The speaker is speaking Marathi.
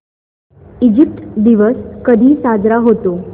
इजिप्त दिवस कधी साजरा होतो